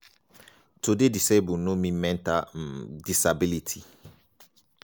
"to dey disabled no mean mental um disability.